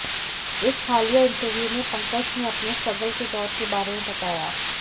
एक हालिया इंटरव्यू में पंकज ने अपने स्ट्रगल के दौर के बारे में बताया